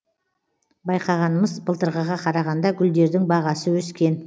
байқағанымыз былтырғыға қарағанда гүлдердің бағасы өскен